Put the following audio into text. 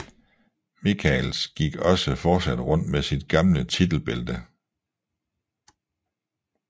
Michaels gik også fortsat rundt med sit gamle titelbælte